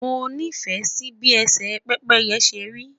mo ni fẹ Si bi ese pépéye seri